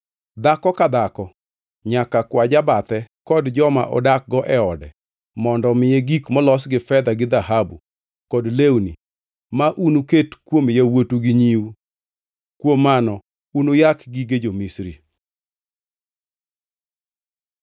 Dhako ka dhako nyaka kwa jabathe kod joma odakgo e ode mondo omiye gik molos gi fedha gi dhahabu kod lewni, ma unuket kuom yawuotu gi nyiu. Kuom mano unuyak gige jo-Misri.”